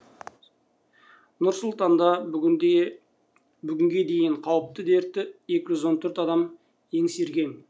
нұр сұлтанда бүгінге бүгінге дейін қауіпті дертті екі жүз он төрт адам еңсерген